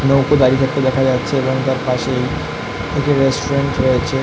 নৌকো দাঁড়িয়ে থাকতে দেখা যাচ্ছে এবং তার পাশেই একটি রেস্টুরেন্ট রয়েছে।